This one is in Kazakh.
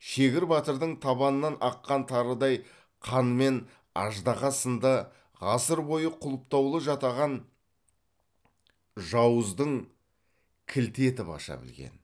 шегір батырдың табанынан аққан тарыдай қанмен аждаһа сынды ғасыр бойы құлыптаулы жатаған жауыздың кілті етіп аша білген